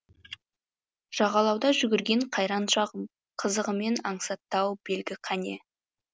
жағалауда жүгірген қайран шағым қызығымен аңсатты ау белгі қане